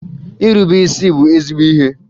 Irube isi bụ ezigbo ihe